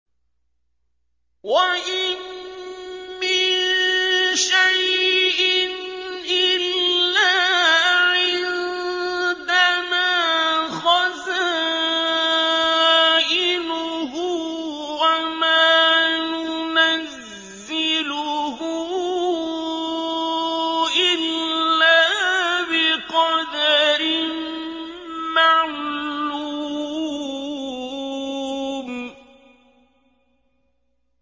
وَإِن مِّن شَيْءٍ إِلَّا عِندَنَا خَزَائِنُهُ وَمَا نُنَزِّلُهُ إِلَّا بِقَدَرٍ مَّعْلُومٍ